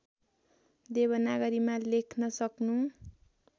देवनागरीमा लेख्न सक्नु